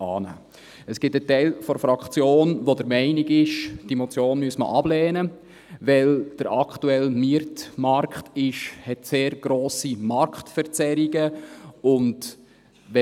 Es gibt einen Teil der Fraktion, welcher der Meinung ist, diese Motion müsse abgelehnt werden, weil der aktuelle Mietmarkt sehr grosse Marktverzerrungen aufweist.